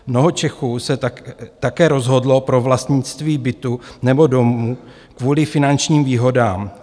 Mnoho Čechů se také rozhodlo pro vlastnictví bytu nebo domu kvůli finančním výhodám.